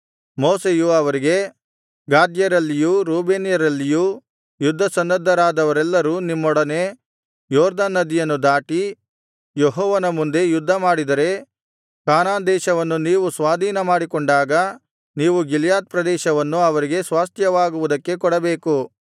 ಮೋಶೆಯು ಅವರಿಗೆ ಗಾದ್ಯರಲ್ಲಿಯೂ ರೂಬೇನ್ಯರಲ್ಲಿಯೂ ಯುದ್ಧಸನ್ನದ್ಧರಾದವರೆಲ್ಲರೂ ನಿಮ್ಮೊಡನೆ ಯೊರ್ದನ್ ನದಿಯನ್ನು ದಾಟಿ ಯೆಹೋವನ ಮುಂದೆ ಯುದ್ಧಮಾಡಿದರೆ ಕಾನಾನ್ ದೇಶವನ್ನು ನೀವು ಸ್ವಾಧೀನಮಾಡಿಕೊಂಡಾಗ ನೀವು ಗಿಲ್ಯಾದ್ ಪ್ರದೇಶವನ್ನು ಅವರಿಗೆ ಸ್ವಾಸ್ತ್ಯವಾಗುವುದಕ್ಕೆ ಕೊಡಬೇಕು